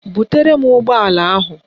Butere m ụgbọala ahụ!